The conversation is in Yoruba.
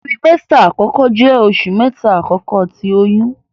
Tiramesita akọkọ jẹ oṣu mẹta akọkọ ti oyun.